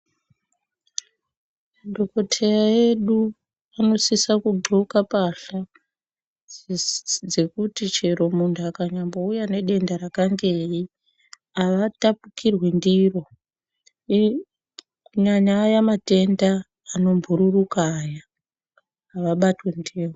Madhokodheya edu anosisa kundxoka mbahla dzekuti chero muntu akanyambouya nedenda rakangei avatapukirwi ndiro kunyanya aya matenda anombururuka aya avabatwi ndiwo.